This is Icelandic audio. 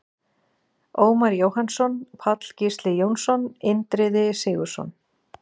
Ómar Jóhannsson, Páll Gísli Jónsson, Indriði Sigurðsson,